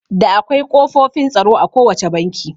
Da akwai ƙofofin tsaro a ko wacce banki